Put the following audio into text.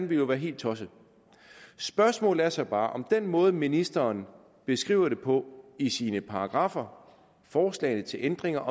ville jo være helt tosset spørgsmålet er så bare om den måde ministeren beskriver det på i sine paragraffer forslagene til ændringer